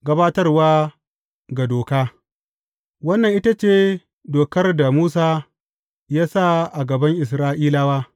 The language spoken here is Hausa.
Gabatarwa ga doka Wannan ita ce dokar da Musa ya sa a gaban Isra’ilawa.